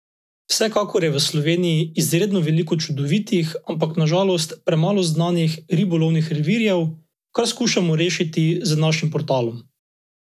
Vsekakor je v Slovenji izredno veliko čudovitih, ampak na žalost premalo znanih ribolovnih revirjev, kar skušamo rešiti z našim portalom.